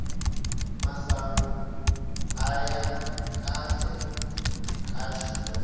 masangu aya kahle ka xitori